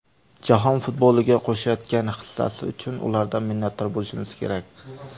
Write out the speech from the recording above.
Jahon futboliga qo‘shayotgan hissasi uchun ulardan minnatdor bo‘lishimiz kerak.